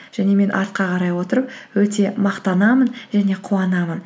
және мен артқа қарай отырып өте мақтанамын және қуанамын